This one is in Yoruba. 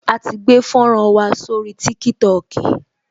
A ti gbé fọ́nrán wa sórí Tiktok